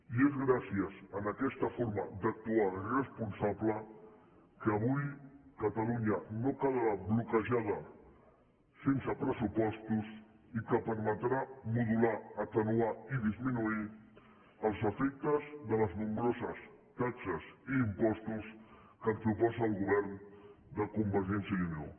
i és gràcies a aquesta forma d’actuar responsable que avui catalunya no quedarà bloquejada sense pressupostos i que permetrà modular atenuar i disminuir els efectes de les nombroses taxes i impostos que ens proposa el govern de convergència i unió